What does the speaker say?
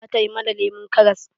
Zata yi mana lemon karas.